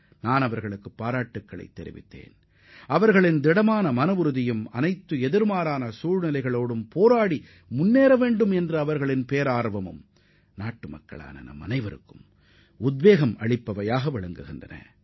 நான் அவர்களை பாராட்டினேன் தடைக்கற்களை தகர்த்தெறிந்து வெற்றியை பெறுவதில் அவர்கள் காட்டிய மனஉறுதி நம் நாட்டு மக்கள் அனைவருக்கும் ஊக்கமளிப்பதாக இருக்கும்